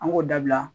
An k'o dabila